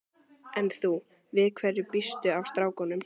En þú, við hverju býstu af strákunum?